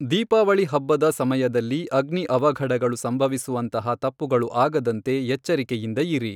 ದೀಪಾವಳಿ ಹಬ್ಬದ ಸಮಯದಲ್ಲಿ ಅಗ್ನಿ ಅವಘಢಗಳು ಸಂಭವಿಸುವಂತಹ ತಪ್ಪುಗಳು ಆಗದಂತೆ ಎಚ್ಚರಿಕೆಯಿಂದ ಇರಿ.